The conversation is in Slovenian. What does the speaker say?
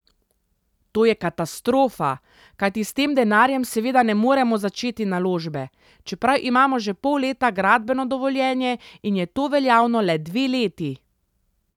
To je katastrofa, kajti s tem denarjem seveda ne moremo začeti naložbe, čeprav imamo že pol leta gradbeno dovoljenje in je to veljavno le dve leti.